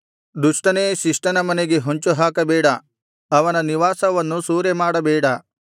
ದುಷ್ಟನೇ ಶಿಷ್ಟನ ಮನೆಗೆ ಹೊಂಚುಹಾಕಬೇಡ ಅವನ ನಿವಾಸವನ್ನು ಸೂರೆಮಾಡಬೇಡ